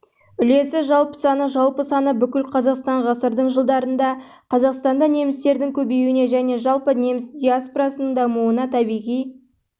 үлесі жалпы саны жалпы саны бүкіл қазақстан ғасырдың жылдарында қазақстанда немістердің көбеюіне және жалпы неміс диаспорасының дамуына табиғи